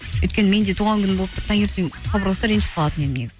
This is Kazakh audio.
өйткені мен де туған күні болып тұр таңертең хабарласса ренжіп қалатын едім негізі